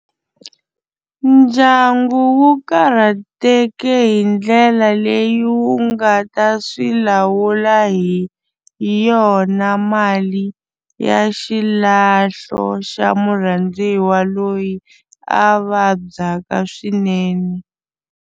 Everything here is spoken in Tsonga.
Ndyangu wu karhateke hi ndlela leyi wu nga ta swi lawula hi yona mali ya xilahlo xa murhandziwa loyi a vabyaka swinene.